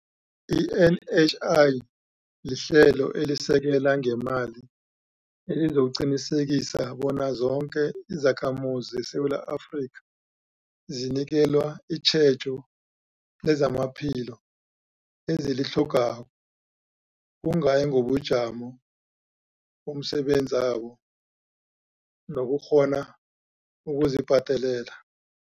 I-NHI lihlelo elisekela ngeemali elizokuqinisekisa bona zoke izakhamuzi zeSewula Afrika zinikelwa itjhejo lezamaphilo ezilitlhogako, kungayi ngobujamo bomsebenzabo nokukghona ukuzibhadelela.